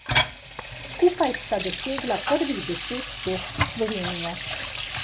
Skupaj sta dosegla prvih deset točk Slovenije.